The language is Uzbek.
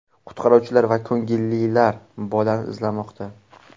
Qutqaruvchilar va ko‘ngillilar bolani izlamoqda.